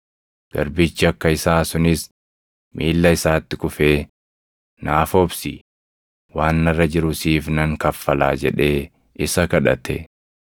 “Garbichi akka isaa sunis miilla isaatti kufee, ‘Naaf obsi; waan narra jiru siif nan kaffalaa’ jedhee isa kadhate.